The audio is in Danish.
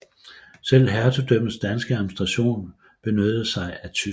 Selv hertugdømmets danske administration benyttede sig af tysk